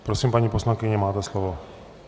Prosím, paní poslankyně, máte slovo.